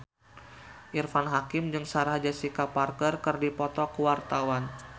Irfan Hakim jeung Sarah Jessica Parker keur dipoto ku wartawan